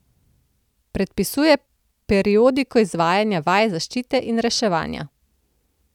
Predpisuje periodiko izvajanja vaj zaščite in reševanja.